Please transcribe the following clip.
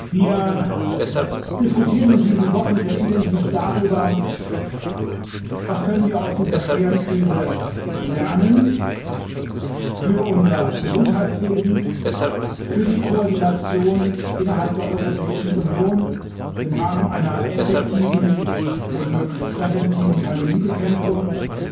Wir diskutieren in diesen Wochen sehr intensiv darüber, was wir aus dieser schweren Krise für unser Gesundheitswesen und für die Koordination innerhalb der Europäischen Union im Rahmen einer effektiven und möglichst präventiven Pandemiebekämpfung lernen